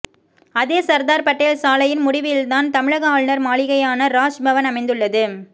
அதே சர்தார் பட்டேல் சாலையின் முடிவில்தான் தமிழக ஆளுநர் மாளிகையான ராஜ் பவன் அமைந்துள்ளது